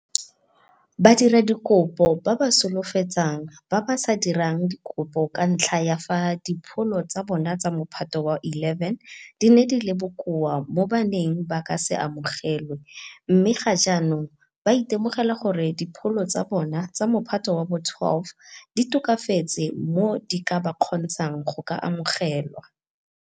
Badiradikopo ba ba solofetsang ba ba sa dirang dikopo ka ntlha ya fa dipholo tsa bona tsa Mophato wa bo 11 di ne di le bokoa mo ba neng ba ka se amogelwe mme ga jaanong ba itemogela gore dipholo tsa bona tsa Mophato wa bo 12 di tokafetse mo di ka ba kgontshang go ka amogelwa.